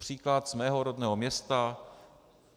Příklad z mého rodného města.